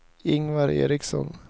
Ingvar Eriksson